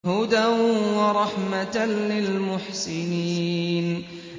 هُدًى وَرَحْمَةً لِّلْمُحْسِنِينَ